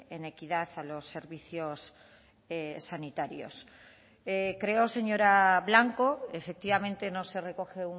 en equidad a los servicios sanitarios creo señora blanco efectivamente no se recoge